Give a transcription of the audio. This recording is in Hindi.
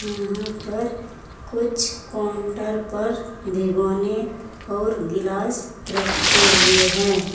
यहां पर कुछ काउंटर पर भेगोने और गिलास रखे हुए हैं।